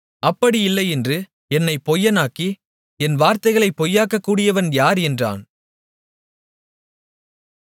அப்படியில்லையென்று என்னைப் பொய்யனாக்கி என் வார்த்தைகளைப் பொய்யாக்கக்கூடியவன் யார் என்றான்